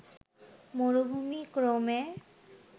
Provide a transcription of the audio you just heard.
মরুভূমি ক্রমে